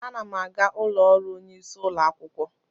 Ana m aga ụlọ ọrụ onye isi ụlọ akwụkwọ.